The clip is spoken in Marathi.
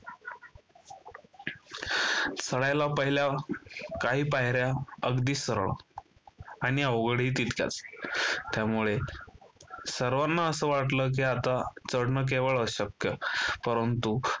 चढायला पहिल्या काही पायर्‍या अगदी सरळ आणि अवघड ही तितक्याच. त्यामुळे सर्वांनाच वाटल की आता चढण केवळ अशक्य परंतु